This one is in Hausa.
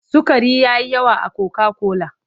Sukari ya yi yawa a koka-kola.